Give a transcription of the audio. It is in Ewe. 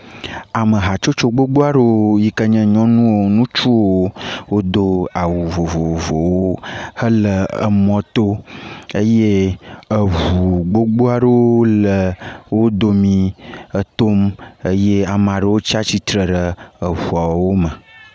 Ame hatsotso gbogbo aɖewo yi ke nye nyɔnuwo, ŋutsuwo. Wodo awu vovovowo hele emɔto. Eye eŋu gbogbo aɖewo le wo domi etom eye amaa ɖewo tsa tsitre ɖe eŋuawo me.